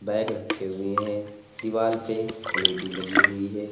Bag रखे हुए हैं। दीवाल पे एल_ई_डी लगी हुई है।